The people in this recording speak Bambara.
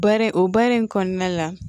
Bari o baara in kɔnɔna la